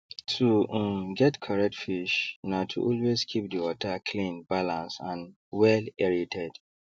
to um get correct fish na to always keep the water cleanbalance and wellaerated